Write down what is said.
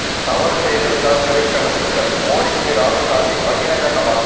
தவறு செய்திருந்தால் சிறைக்கு அனுப்புங்கள் மோடிக்கு ராகுல் காந்தி பகீரங்க சவால்